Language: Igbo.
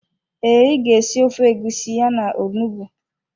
Ee, ị ga-esi ofe egusi ya na onugbu.